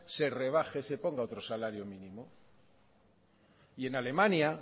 se ponga otro salario mínimo y en alemania